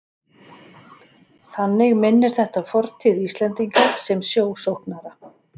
Þannig minnir þetta á fortíð Íslendinga sem sjósóknara.